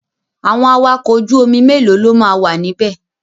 Àwọn awakọ̀ ojú omi mélòó lo máa wà níbẹ̀?